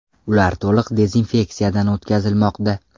Ular to‘liq dezinfeksiyadan o‘tkazilmoqda.